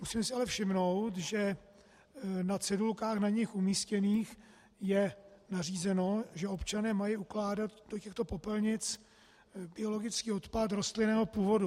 Musím si ale všimnout, že na cedulkách na nich umístěných je nařízeno, že občané mají ukládat do těchto popelnic biologický odpad rostlinného původu.